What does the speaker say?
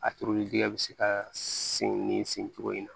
A turuli bɛ se ka sen nin sen cogo in na